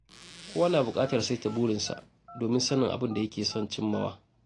Kowa na buƙatar saita burinsa domin sanin abin da yake son cimmawa.